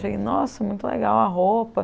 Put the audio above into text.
Eu achei, nossa, muito legal a roupa.